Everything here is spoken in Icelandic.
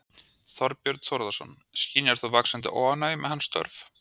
Þorbjörn Þórðarson: Skynjar þú vaxandi óánægju með hans störf?